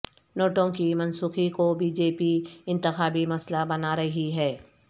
نوٹوں کی منسوخی کو بی جے پی انتخابی مسئلہ بنا رہی ہے